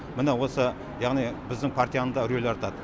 міне осы яғни біздің партияның да рөлі артады